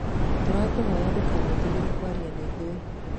Tũrahoya ndũkanetigĩre kwaria na ithuĩ.